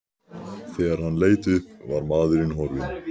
Þegar hann leit upp var maðurinn horfinn.